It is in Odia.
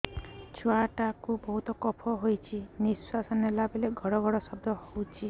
ଛୁଆ ଟା କୁ ବହୁତ କଫ ହୋଇଛି ନିଶ୍ୱାସ ନେଲା ବେଳେ ଘଡ ଘଡ ଶବ୍ଦ ହଉଛି